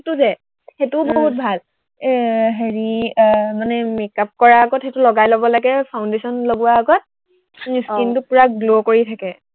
সেইটো যে, সেইটোও বহুত ভাল এৰ হেৰি এৰ মানে make up কৰাৰ আগত সেইটো লগাই লব লাগে foundation লগোৱৰ আগত তোৰ skin টো পোৰা glow কৰি থাকে।